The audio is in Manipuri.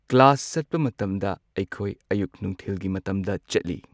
ꯀ꯭ꯂꯥꯁ ꯆꯠꯄ ꯃꯇꯝꯗ ꯑꯩꯈꯣꯏ ꯑꯌꯨꯛ ꯅꯨꯡꯊꯤꯜꯒꯤ ꯃꯇꯝꯗ ꯆꯠꯂꯤ꯫